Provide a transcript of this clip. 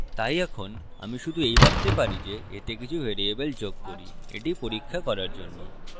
তাই এখন আমি শুধু এই ভাবতে পারি যে এতে কিছু ভ্যারিয়েবল যোগ করি এটি পরীক্ষা করার জন্য